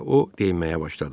deyə o deməyə başladı.